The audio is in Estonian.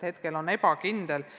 Hetkel on see arv ebakindel.